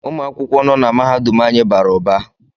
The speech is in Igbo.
Ụmụ akwụkwọ nọ na mahadum anyị bara ụba